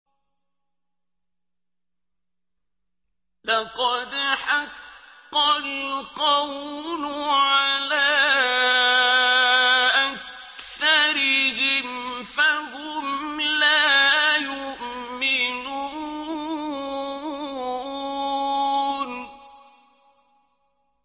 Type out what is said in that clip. لَقَدْ حَقَّ الْقَوْلُ عَلَىٰ أَكْثَرِهِمْ فَهُمْ لَا يُؤْمِنُونَ